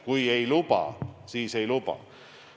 Kui ei luba, siis ei luba.